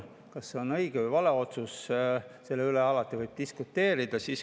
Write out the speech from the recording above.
Kas see on õige või vale otsus, selle üle võib alati diskuteerida.